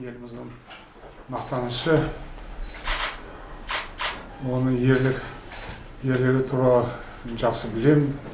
еліміздің мақтанышы оның ерлігі туралы жақсы білемін